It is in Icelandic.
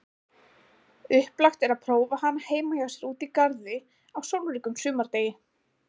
Upplagt er prófa hana heima hjá sér úti í garði á sólríkum sumardegi.